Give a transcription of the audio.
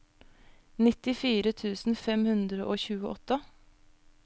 nittifire tusen fem hundre og tjueåtte